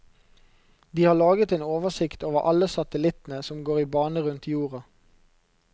De har laget en oversikt over alle satellittene som går i bane rundt jorda.